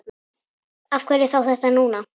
Af hverju þá þetta núna?